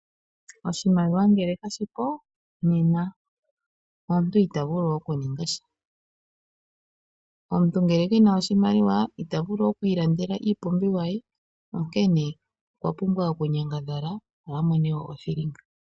Oshimaliwa nge kashipo nena omuntu itavulu okuningasha. Omuntu ngele kena oshimaliwa itavulu okwiilandela iipumbiwa ye, onkene okwapumbwa okunyangadhala opo amone oshithilinga.